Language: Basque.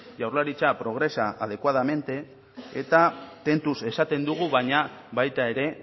jaurlaritza progresa adecuadamente eta tentuz esaten dugu baina baita ere